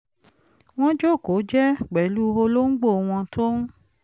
wọ́n jókòó jẹ́ẹ́ pẹ̀lú olóńgbò wọn tó ń